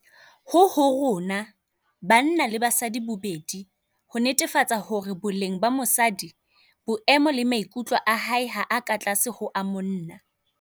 Ho ho rona - banna le basadi bobedi - ho netefatsa hore boleng ba mosadi, boemo le maikutlo a hae ha a ka tlase ho a monna.